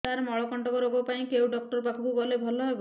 ସାର ମଳକଣ୍ଟକ ରୋଗ ପାଇଁ କେଉଁ ଡକ୍ଟର ପାଖକୁ ଗଲେ ଭଲ ହେବ